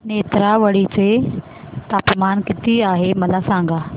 नेत्रावळी चे तापमान किती आहे मला सांगा